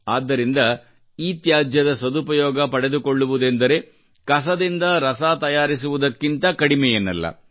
ಆದ್ದರಿಂದ ಇತ್ಯಾಜ್ಯದ ಸದುಪಯೋಗ ಪಡೆದುಕೊಳ್ಳುವುದೆಂದರೆ ಕಸದಿಂದ ರಸ ತಯಾರಿಸುವುದಕ್ಕಿಂತ ಕಡಿಮೆಯೇನಲ್ಲ